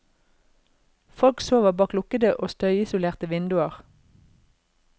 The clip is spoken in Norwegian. Folk sover bak lukkede og støyisolerte vinduer.